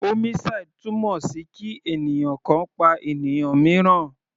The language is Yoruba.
Homicide túmọ̀ sí kí ènìyàn kan pa ènìyàn míìràn.